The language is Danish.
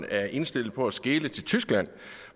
er indstillet på at skele til tyskland